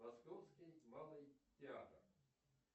московский малый театр